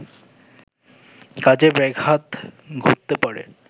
কাজে ব্যাঘাত ঘটতে পারে